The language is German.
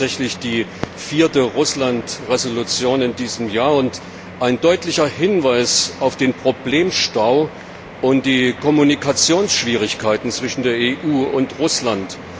Das ist tatsächlich die vierte Russland Entschließung in diesem Jahr und ein deutlicher Hinweis auf den Problemstau und die Kommunikationsschwierigkeiten zwischen der EU und Russland.